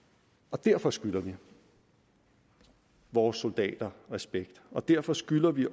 derfor skylder vi vores soldater respekt og derfor skylder vi